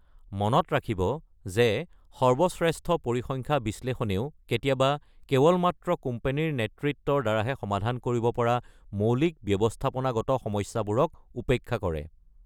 মনত ৰাখিব যে সৰ্বশ্ৰেষ্ঠ পৰিসংখ্যা বিশ্লেষণেও কেতিয়াবা কেৱল মাত্ৰ কোম্পানীৰ নেতৃত্বৰ দ্বাৰা হে সমাধান কৰিব পৰা মৌলিক ব্যৱস্থাপনাগত সমস্যাবোৰক উপেক্ষা কৰে।